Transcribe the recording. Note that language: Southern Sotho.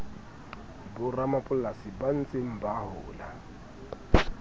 boramapolasi ba ntseng ba hola